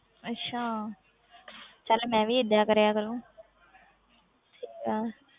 ਅੱਛਾ ਚੱਲ ਮੈਂ ਵੀ ਏਦਾਂ ਕਰਿਆ ਕਰੂੰ ਠੀਕ ਹੈ